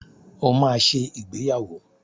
O maá ṣe ìgbéyàwó.